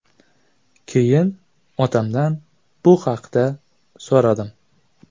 Keyin otamdan bu haqda so‘radim.